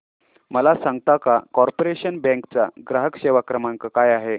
मला सांगता का कॉर्पोरेशन बँक चा ग्राहक सेवा क्रमांक काय आहे